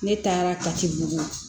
Ne taara kati bugu